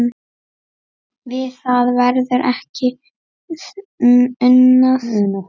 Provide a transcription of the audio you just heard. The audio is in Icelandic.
Við það verður ekki unað